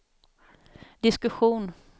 diskussion